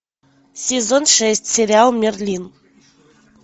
сезон шесть сериал мерлин